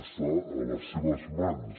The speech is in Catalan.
està a les seves mans